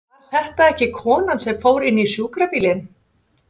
Var þetta ekki konan sem fór inn í sjúkrabílinn?